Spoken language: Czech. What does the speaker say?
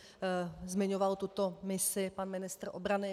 Zmiňoval tuto misi pan ministr obrany.